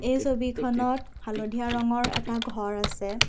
এই ছবিখনত হালধীয়া ৰঙৰ এটা ঘৰ আছে।